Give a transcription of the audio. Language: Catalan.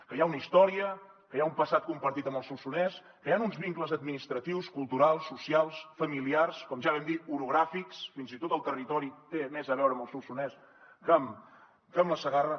que hi ha una història que hi ha un passat compartit amb el solsonès que hi han uns vincles administratius culturals socials familiars com ja vam dir orogràfics fins i tot el territori té més a veure amb el solsonès que amb la segarra